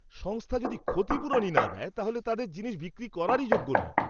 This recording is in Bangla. সংস্থা যদি ক্ষতিপূরণই না দেয়, তাহলে তাদের জিনিস বিক্রি করারই যোগ্য নয়!